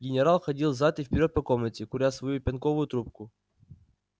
генерал ходил взад и вперёд по комнате куря свою пенковую трубку